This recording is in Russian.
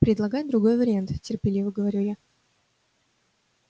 предлагай другой вариант терпеливо говорю я